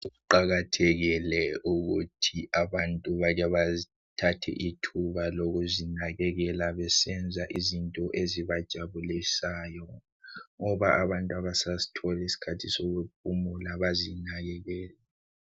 Kuqakathekile ukuthi abantu bake bathathe ithuba lokuzinakekela besenza izinto ezibajabulisayo ngoba abantu abasasitholi isikhathi sokuphumula bazinakekele.